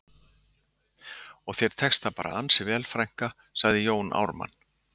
Og þér tekst það bara ansi vel frænka, sagði Jón Ármann